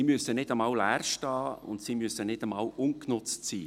Sie müssen nicht einmal leer stehen, und sie müssen nicht einmal ungenutzt sein.